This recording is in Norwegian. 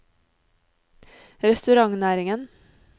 restaurantnæringen